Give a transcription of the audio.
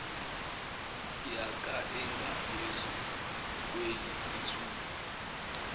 yaka engaphezu kweyisithupha